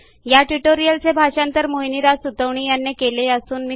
ह्या ट्युटोरियलचे मराठी भाषांतर मोहिनीराज सुतवणी यांनी केलेले असून आवाज